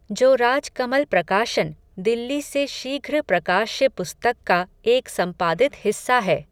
जो राज कमल प्रकाशन, दिल्ली से शीध्र प्रकाश्य पुस्तक का एक सम्पादित हिस्सा है